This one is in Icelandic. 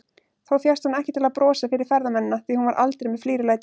Þó fékkst hún ekki til að brosa fyrir ferðamennina, því hún var aldrei með flírulæti.